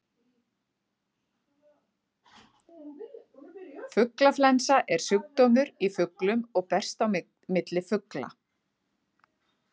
Fuglaflensa er sjúkdómur í fuglum og berst á milli fugla.